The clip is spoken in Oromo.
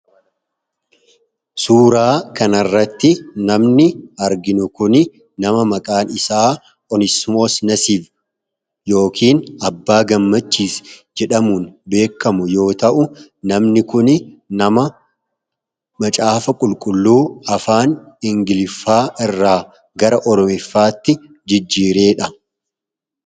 suuraa kanarratti namni argino kun nama maqaan isaa onesmoosnasiif yookin abbaa gammachiis jedhamuun beekamu yoo ta'u namni kun nama macaafa qulqulluu afaan ingiliffaa irraa gara ormeffaatti jijjiireedha